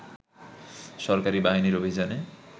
সরকারি বাহিনীর অভিযানে